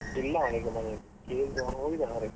ಇಲ್ಲ ಅವ್ನ್ನೀಗ ಮನೆಲ್ಲಿ, ಈಗ ಹೋಗಿದಾನೆ ಹೊರಗೆ.